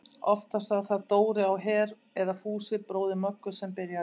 Oftast var það Dóri á Her eða Fúsi bróðir Möggu sem byrjaði.